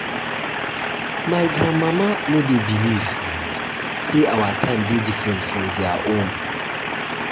my grandmama no dey believe um sey our time dey different from their own. from their own.